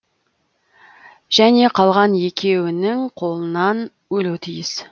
және қалған екеуінің қолынан өлуі тиіс